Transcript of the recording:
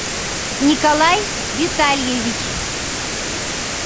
николай витальевич